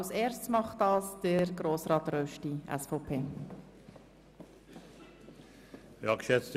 Als Erstes wird dies von Herrn Grossrat Rösti, SVP, befolgt.